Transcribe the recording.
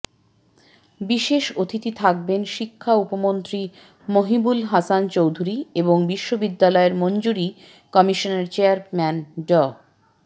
বিশেষ অতিথি থাকবেন শিক্ষা উপমন্ত্রী মহিবুল হাসান চৌধুরী এবং বিশ্ববিদ্যালয়ের মঞ্জুরি কমিশনের চেয়ারম্যান ড